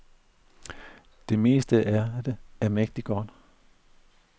Det meste af det er mægtig godt.